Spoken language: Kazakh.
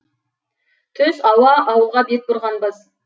түс ауа ауылға бет бұрғанбыз